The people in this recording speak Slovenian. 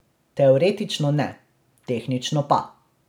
Teoretično ne, tehnično pa.